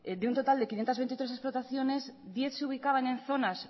de un total de quinientos veintitrés explotaciones diez se ubicaban en zonas